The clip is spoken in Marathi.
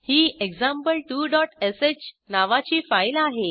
ही example2श नावाची फाईल आहे